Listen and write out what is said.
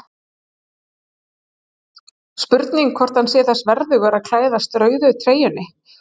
Spurning hvort hann sé þess verðugur að klæðast rauðu treyjunni?